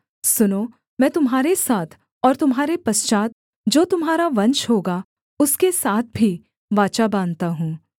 सुनो मैं तुम्हारे साथ और तुम्हारे पश्चात् जो तुम्हारा वंश होगा उसके साथ भी वाचा बाँधता हूँ